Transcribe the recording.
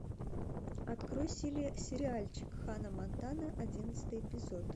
открой сериальчик ханна монтана одиннадцатый эпизод